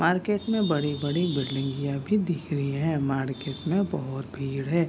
Market में बड़ी-बड़ी बिल्डिंगिया भी दिख रही है। मार्केट में बोहोत भीड़ है।